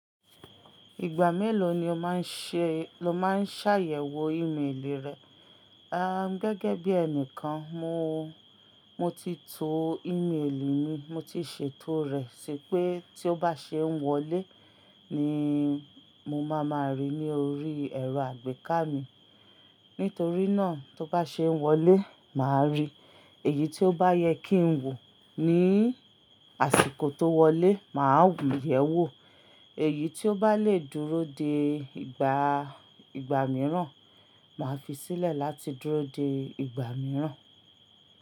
Ìgbà mélòó ni o máa ń ṣẹ-- lo máa ń ṣàyẹ̀wò ímélì rẹ?, ah Um, gẹ́gẹ́ bí ẹnìkan, mo, mo ti to ímélì mi, mo ti ṣètò rẹ̀ sipè tí ó bá ṣe ń wọlé ni mo ma ma rí ní orí ẹ̀rọ àgbéká mi. Nítorí náà, tó bá ṣe ń wọlé, màá rí. Èyí tí ó bá yẹ kí ń wò ní àsìkò tó wọlé, màá wòyẹ̀wò. Èyí tí ó bá le dúró de ìgbà, ìgbà mìíràn, màá fi sílẹ̀ láti dúró de ìgbà mìíràn.